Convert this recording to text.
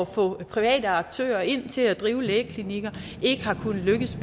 få private aktører ind til at drive lægeklinikker ikke har kunnet lykkes